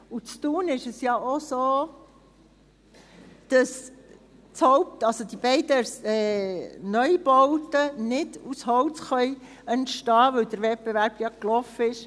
In Thun ist es ja auch so, dass die beiden Neubauten nicht aus Holz entstehen können, weil der Wettbewerb gelaufen ist.